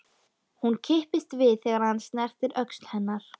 Hún kippist við þegar hann snertir öxl hennar.